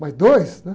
Mas dois, né?